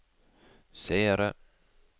seere